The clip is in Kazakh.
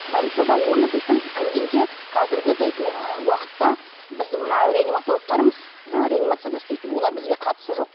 больницада оны дейтін кіргенде қазіргі дейтін ы уақытта біздің мына реаниматологтарымыз жаңағы реанимацияда істейтін олар бізге қатысы жоқ